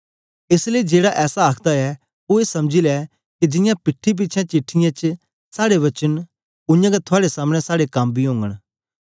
एस लेई जेड़ा ऐसा आखदा ऐ ओ ए समझी लै के जियां पीठी पिछें चिठ्ठीयें च साड़े वचन न उयांगै थुआड़े सामने साड़े कम बी ओगन